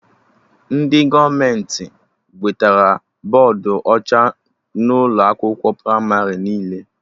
Ndị gọọmenti wetara bọdụ ọcha n'ụlọ akwụkwọ pramarị niile